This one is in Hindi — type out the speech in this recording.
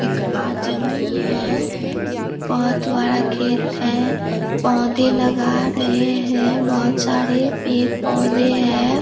एक आदमी है बहुत बड़ा खेत है पौधे लगा रहे हैं बहुत सारे पेड़-पौधे है।